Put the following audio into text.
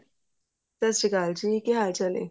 ਸੀ ਸ਼੍ਰੀ ਅਕਾਲ ਜੀ ਕੀ ਹਾਲ ਚਾਲ ਹੈ